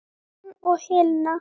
Hann og Helena.